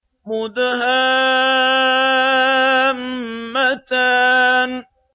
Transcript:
مُدْهَامَّتَانِ